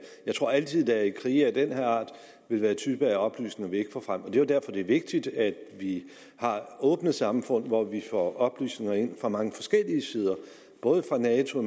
jeg tror altid at der i krige af den her art vil være typer af oplysninger vi ikke får frem det er derfor det er vigtigt at vi har åbne samfund hvor vi får oplysninger ind fra mange forskellige sider både fra nato